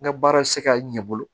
N ka baara tɛ se ka ɲɛ bolo